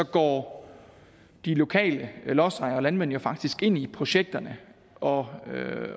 går de lokale lodsejere og landmænd faktisk ind i projekterne og